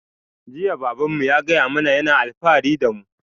Jiya baban mu ya gaya mana yana alfahari da mu